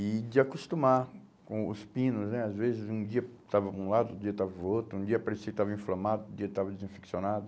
E de acostumar com os pinos né, às vezes um dia estava um lado, outro dia estava outro, um dia parecia que estava inflamado, outro dia estava desinfeccionado.